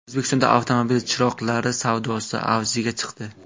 O‘zbekistonda avtomobil chiroqlari savdosi avjiga chiqdi.